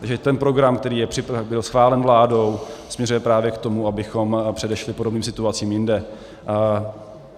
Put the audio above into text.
Takže ten program, který byl schválen vládou, směřuje právě k tomu, abychom předešli podobným situacím jinde.